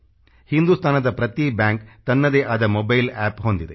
ಹಿಂದುಸ್ತಾನದ ಪ್ರತಿ ಬ್ಯಾಂಕ್ ತನ್ನದೇ ಆದ ಮೊಬೈಲ್ ಅಪ್ ಹೊಂದಿದೆ